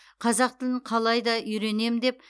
қазақ тілін қалайда үйренем деп